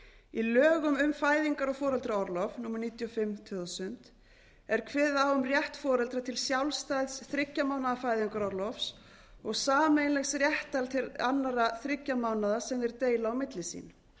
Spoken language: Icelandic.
í lögum um fæðingar og foreldraorlof númer níutíu og fimm tvö þúsund er kveðið á um rétt foreldra til sjálfstæðs þriggja mánaða fæðingarorlofs og sameiginlegs réttar til annarra þriggja mánaða sem þeir deila á milli sín